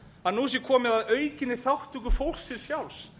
að nú sé komið að aukinni þátttöku fólksins sjálfs